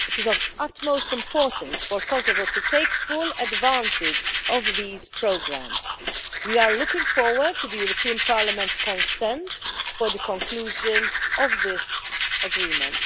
It is of utmost importance for Kosovo to take full advantage of these programmes. We are looking forward to the European Parliament's consent for the conclusion of this agreement.